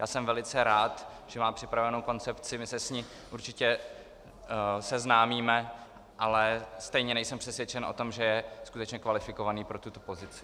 Já jsem velice rád, že má připravenou koncepci, my se s ní určitě seznámíme, ale stejně nejsem přesvědčen o tom, že je skutečně kvalifikovaný pro tuto pozici.